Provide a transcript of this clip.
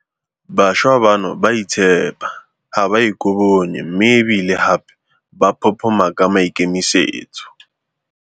Bašwa bano ba a itshepa, ga ba ikobonye mme e bile gape ba phophoma ka maikemisetso.